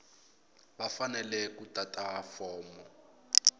va fanele ku tata fomo